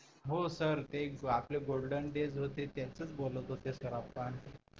हो सर ते आपले golden days होते त्याचच बोलत होते सर आपण